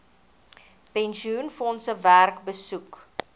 pensioenfondse werk besoek